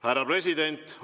Härra president!